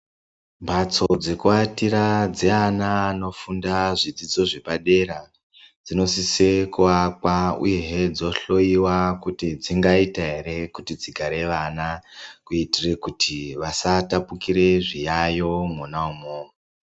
Mbatso dzekuatira dzeana anofunda zvidzidzo zvepadera dzinosise kuakwa uyehe dzohloiwa kuti dzingaita ere kuti dzigare ana kuitire kuti vasatapukira zviyayo mwona imwomwo.